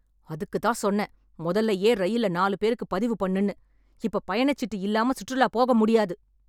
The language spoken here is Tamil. அதுக்கு தான் சொன்னேன், முதல்லயே ரயில்ல நாலு பேருக்கு பதிவு பண்ணுனு. இப்ப பயணச்சீட்டு இல்லாம சுற்றுலா போக முடியாது.